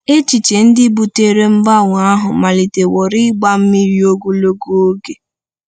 Echiche ndị butere mgbanwe ahụ amaliteworị ịgba mmiri ogologo oge.